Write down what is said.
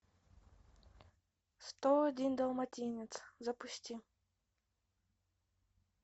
сто один далматинец запусти